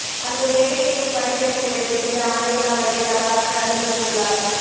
அங்கு வேலை செய்யும் பணி பெண்களிடம் சில ஆண்டுகளாகவே தவறாக நடந்து வந்துள்ளார்